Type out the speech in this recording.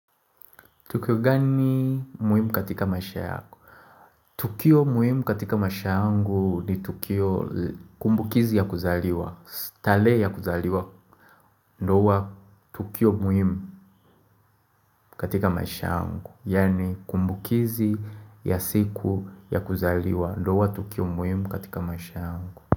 Tukio gani muhimu katika maisha yako? Tukio muhimu katika maisha yangu ni tukio kumbukizi ya kuzaliwa tarehe ya kuzaliwa ndoa tukio muhimu katika maisha yangu Yaani kumbukizi ya siku ya kuzaliwa ndoa tukio muhimu katika maisha yangu.